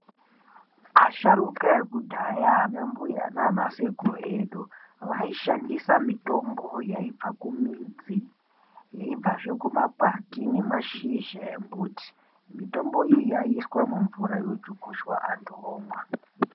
Asharukwa ekudhaya, anambuya nanasekuru edu, vaishandisa mitombo yaibva kumidzi, yeibvazve kumakwati nemashizha embuti. Mitombo iyi yaiiswa mumvura yochukucha antu omwa.